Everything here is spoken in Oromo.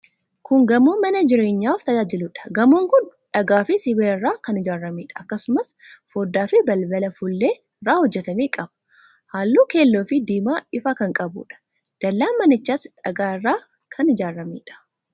Kun gamoo mana jireenyaaf tajaajiluudha. Gamoon kun dhagaafi sibiila irraa kan ijaarameedha. Akkasumas, foddaafi balbala fuullee irraa hojjetame qaba. Halluu keelloofi diimaa ifaa kan qabuudha. Dallaan manichaas dhagaa irraa kan ijaarameedha.